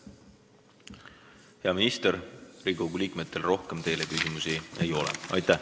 Hea minister, Riigikogu liikmetel rohkem teile küsimusi ei ole.